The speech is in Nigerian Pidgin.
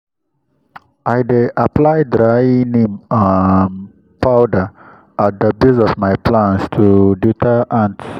i dey apply dry neem um powder at the base of my plants to deter ants.